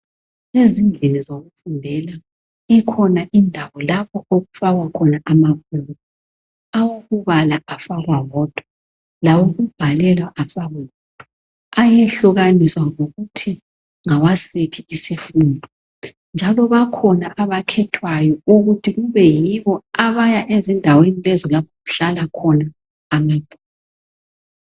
Ezindlini zokufundela ikhona indawo lapho okufakwa khona amabhuku, awokubala afakwa wodwa lawokubhalela afakwe wodwa ayehlukaniswa ngokuthi ngawasiphi isifundo njalo bakhona abakhethwayo ukuthi kube yibo abaya ezindaweni lezo lapho okuhlala khona amabhuku.